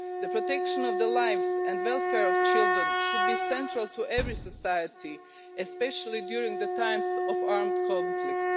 The protection of the lives and welfare of children should be central to every society, especially during times of armed conflict.